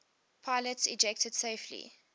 pilots ejected safely